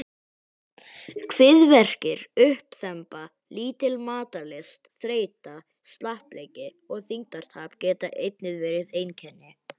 Kviðverkir, uppþemba, lítil matarlyst, þreyta, slappleiki og þyngdartap geta einnig verið einkenni.